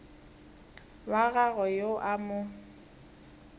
wa gagwe yo a mo